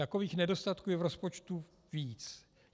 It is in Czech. Takových nedostatků je v rozpočtu víc.